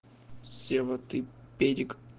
сева ты педик